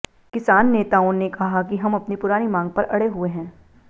किसान नेताओं ने कहा कि हम अपनी पुरानी मांग पर अड़े हुए हैं